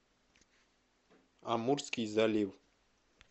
амурский залив